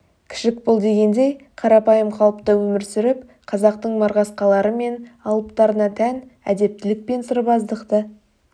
кішік бол дегендей қарапайым қалыпта өмір сүріп қазақтың марғасқалары мен алыптарына тән әдептілік пен сырбаздықты